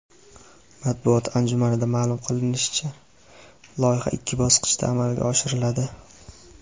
Matbuot anjumanida ma’lum qilinishicha, loyiha ikki bosqichda amalga oshiriladi.